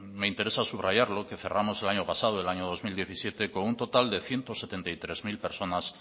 me interesa subrayarlo que cerramos el año pasado el año dos mil diecisiete con un total de ciento setenta y tres mil personas